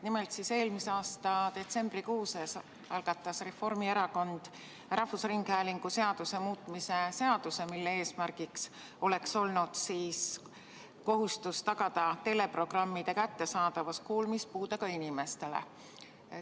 Nimelt, eelmise aasta detsembrikuus algatas Reformierakond rahvusringhäälingu seaduse muutmise seaduse, mille eesmärgiks oli kohustus tagada teleprogrammide kättesaadavus kuulmispuudega inimestele.